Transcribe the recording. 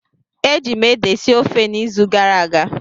Eji m ede sie ofe n'izu gara aga